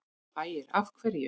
Ægir: Af hverju?